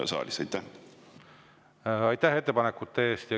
Aitäh ettepanekute eest!